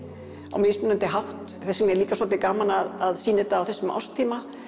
á mismunandi hátt þess vegna er líka svolítið gaman að sýna þetta á þessum árstíma